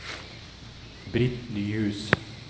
Britt Nyhus